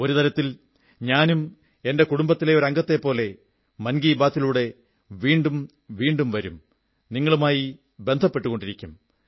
ഒരു തരത്തിൽ ഞാനും എന്റെ കുടുംബത്തിലെ ഒരു അംഗത്തെപ്പോലെ മൻ കീ ബാത്തിലൂടെ വീണ്ടും വീണ്ടും വരും നിങ്ങളുമായി ബന്ധപ്പെട്ടുകൊണ്ടിരിക്കും